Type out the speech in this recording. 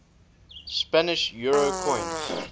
spanish euro coins